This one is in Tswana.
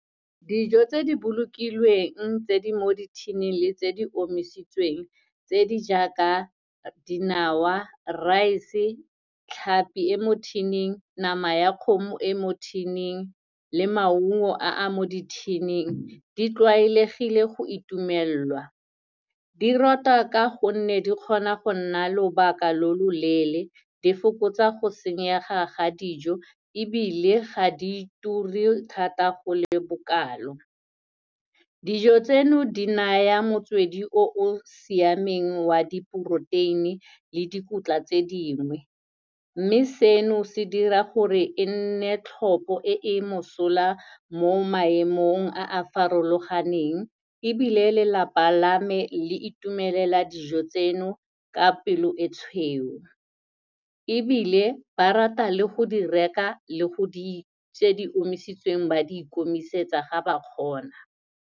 Dijo tse di bolokilweng tse di mo di-tin-ing le tse di omisitsweng tse di jaaka dinawa, rice-e, tlhapi e mo tin-ing, nama ya kgomo e mo tin-ing le maungo a a mo di-tin-ing di tlwaelegile go itumelwa. Di ratwa ka gonne di kgona go nna lobaka lo loleele, di fokotsa go senyega ga dijo, ebile ga di ture thata go le bokalo. Dijo tseno, di naya motswedi o o siameng wa di-poroteini le dikotla tse dingwe, mme seno, se dira gore e nne tlhopo e mosola mo maemong a a farologaneng, ebile lelapa lame le itumelela dijo tseno ka pelo e tshweu. Ebile, ba rata le go di reka le go dija, tse di omisitsweng ba di komisetsa ga ba kgona.